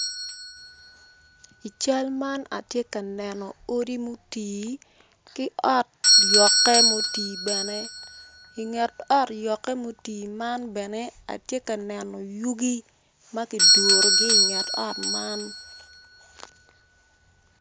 I cal man atye ka neno odi mutii ki ot yokke mutii bene inget ot yokke mutii man bene atye ka neno yugi ma ki durugi inget ot man